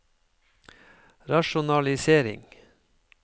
rasjonalisering